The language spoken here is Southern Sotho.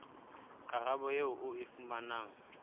karabo eo o e fumanang